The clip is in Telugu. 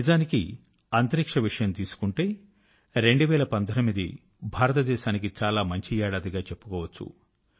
నిజానికి అంతరిక్ష విషయం తీసుకుంటే 2019 భారతదేశానికి చాలా మంచి ఏడాదిగా చెప్పుకోవచ్చు